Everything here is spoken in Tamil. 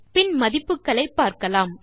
பின் மதிப்புகளை பார்க்கலாம்